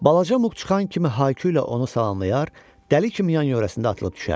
Balaca Muk çıxan kimi hay-küylə onu salamlayar, dəli kimi yan-yörəsində atılıb düşərdik.